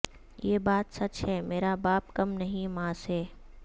یہ بات سچ ہے مرا باپ کم نہیں ماں سے